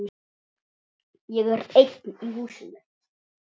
Ég er einn í húsinu.